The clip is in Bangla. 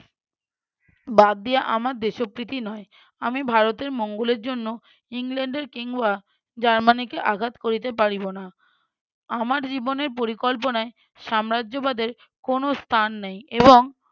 বাদ দিয়া আমার দেশপ্রীতি নয়। আমি ভারতের মঙ্গলের জন্য ইংল্যান্ডের কিংবা জার্মানিকে আঘাত করিতে পারিব না আমার জীবনের পরিকল্পনায় সাম্রাজ্য বাদের কোনো স্থান নাই এবং